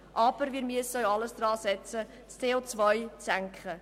Aber wir müssen alles daransetzen, das CO zu senken.